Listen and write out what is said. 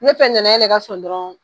Ne fɛ nanaye ka sɔn dɔrɔn